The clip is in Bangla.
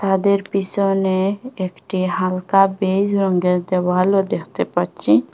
ওদের পিসনে একটি হালকা বেজ রঙ্গের দেওয়ালও দেখতে পাচ্ছি।